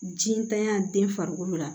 Ji ntanya den farikolo la